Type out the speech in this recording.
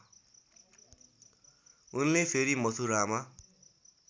उनले फेरि मथुरामा